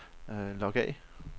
log af